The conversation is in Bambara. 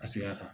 A sira kan